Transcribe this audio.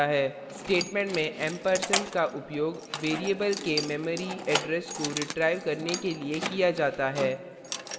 statement में ampersand ampersand का उपयोग variable के memory address को रिट्राइव करने के लिए किया जाता है